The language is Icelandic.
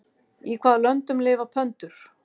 Í hvaða löndum lifa pöndur?